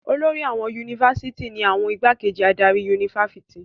Olórí àwọn yunifásitì ni àwọn ìgbákejì adarí yunifásitì.